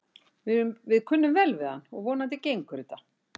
Við kunnum vel við hann og vonandi gengur þetta.